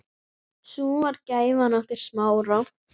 Sú var gæfan okkar Smára.